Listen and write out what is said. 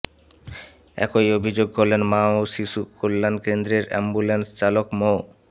একই অভিযোগ করলেন মা ও শিশু কল্যাণ কেন্দ্রের অ্যাম্বুলেন্স চালক মো